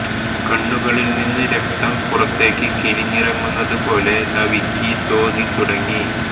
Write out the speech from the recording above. കണ്ണുകളിൽ നിന്ന് രക്തം പുറത്തേക്ക് കിനിഞ്ഞിറങ്ങുന്നതു പോലെ നവിക്ക് തോന്നി തുടങ്ങി